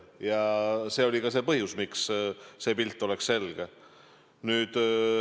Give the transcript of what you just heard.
Ja see oli ka see põhjus, miks pilt peaks olema selge.